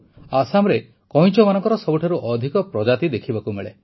ଆସାମରେ କଇଁଛମାନଙ୍କର ସବୁଠାରୁ ଅଧିକ ପ୍ରଜାତି ଦେଖିବାକୁ ମିଳେ